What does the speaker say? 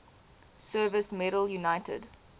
service medal united